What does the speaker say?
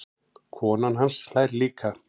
Konan hans hlær líka.